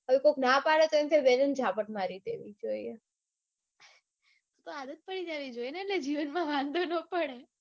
હવે કોક ના પડે એટલે એવું થાય કે બે ત્રણ ઝાપટ મારી દેવી જોઈએ એટલે આદત પડી જાવી જોઈએ ને એટલે જીવનમાં વાંધો ના પડે.